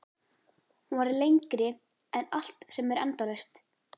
Hún var lengri en allt sem er endalaust.